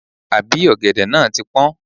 Àbí ọ̀gẹ̀dẹ̀ náà ti pọ́n?